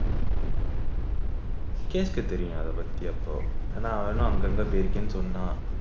விக்னேஷ்க்கு தெரியும் அத பத்தி அப்போ ஏன்னா இன்னும் அங்கங்க போயிருக்கேன்னு சொன்னான்